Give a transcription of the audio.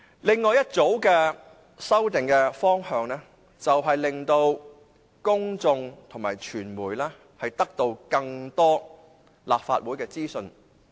另一組修正案的方向，就是令公眾及傳媒能得到更多立法會的資訊。